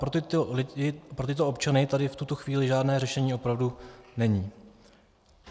Pro tyto občany tady v tuto chvíli žádné řešení opravdu není.